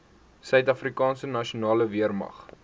suidafrikaanse nasionale weermag